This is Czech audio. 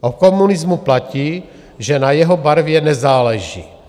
O komunismu platí, že na jeho barvě nezáleží.